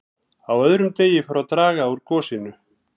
Á öðrum degi fór að draga úr gosinu.